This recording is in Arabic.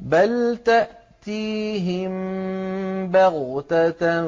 بَلْ تَأْتِيهِم بَغْتَةً